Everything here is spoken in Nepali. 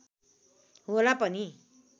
होला पनि